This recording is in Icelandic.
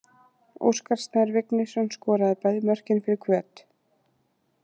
Óskar Snær Vignisson skoraði bæði mörkin fyrir Hvöt.